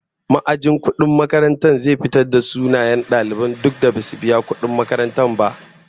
Ma'ajin kudin makarantar zai fitarvda sunayen duk daliban da basu biya kudin makaranta ba